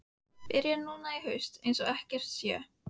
Byrja núna í haust eins og ekkert sé.